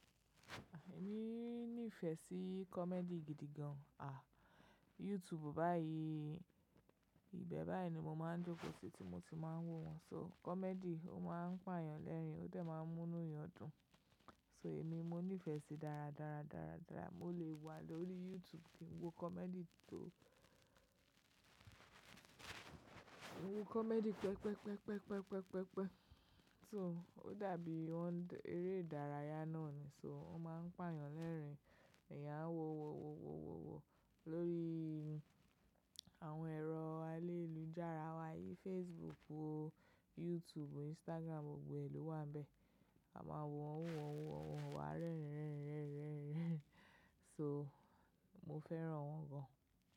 Èmi nífẹ̀ẹ́ sí comedy gidi gan-an. À, YouTube báyìí, ìbẹ̀ báyìí ni mo máa ń jókòó sí tí mo ti máa ń wo wọ́n. So comedy ó máa ń pààyàn lẹ́rìn-ín ó tẹ̀ máa ń múni yan dún. So èmi mo nífẹ̀ẹ́ síi dára, dára, dára, dára. Mo lè wà lórí YouTube kí n wo comedy tó, wo comedy pẹpẹ́pẹpẹ́pẹpẹ́pẹpẹ́. So ó dàbí wọ́n ń eré ìdárayá náà ni, so wọ́n máa ń pààyàn lẹ́rìn-ín, ìyà a wọn wọ́wọ́wọ́wọ́wọ́ lórí àwọn ẹ̀rọ ayélujára wa yí Facebook, YouTube, Instagram gbogbo ẹlò wàn bẹ. A máa wọ́n wọ́n wọ́n wọ́n, wà rẹ́rínrẹ́rínrẹ́rínrẹ́. So mo fẹ́ran wọn gan.